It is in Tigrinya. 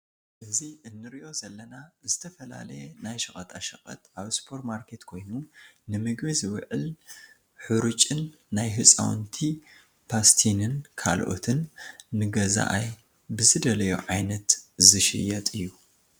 እዚ ንርኦ ዘለና ዝተፈላለየ ናይ ሸቀጣሸቀጥ ኣብ ሱፖርማርኬት ኮይኑ ንምግቢ ዝውዕል ሑሩጭን ናይ ህፃውንቲ ፓስቲንን ካልኦትን ንገዛኣይ ብዝደለዮ ዓይነት ዝሽየጥ እዩ።